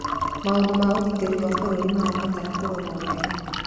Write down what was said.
Maũndũ ma ũgitĩri wa bũrũri marabatara kũrorwo wega.